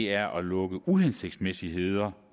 er at lukke uhensigtsmæssigheder